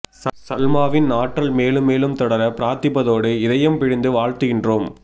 சல்மாவின் ஆற்றல் மேலும் மேலும் தொடர பிராத்திப்பதோடு இதயம் பிழிந்து வாழ்த்துகின்றோம்